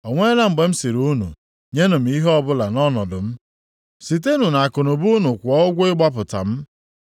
O nweela mgbe m sịrị unu, ‘Nyenụ ihe ọbụla nʼọnọdụ m, sitenụ nʼakụnụba unu kwụọ ụgwọ ịgbapụta m,